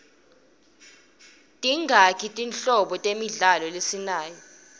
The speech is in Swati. tingaki tinhlobo temidlalo lesinayo